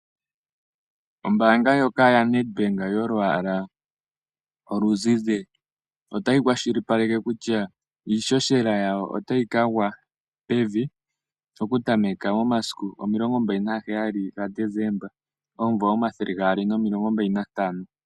Ombaanga ndjoka yaNedbank yolwaala oluzizi otayi kwashilipaleke kutya, iihohela yayo otayi kagwa pevi okutameka momasiku 27 Desemba 2025.